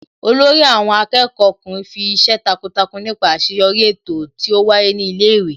Olórí àwọn akẹ́kọ̀ọ́ ọkùnrin fi ìṣe takuntakun nípa àṣeyọrí eto tí ó wáyé ní ilé ìwé